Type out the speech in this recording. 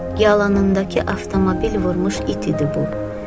Yalanındakı avtomobil vurmuş it idi bu.